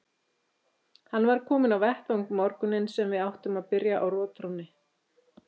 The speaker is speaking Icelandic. Hann var kominn á vettvang morguninn sem við áttum að byrja á rotþrónni.